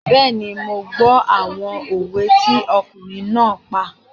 Bẹ́ẹ̀ni, mo gbọ́ àwọn òwe tí ọkùnrin náà pa